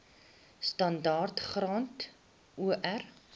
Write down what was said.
standaard graad or